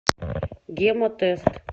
гемотест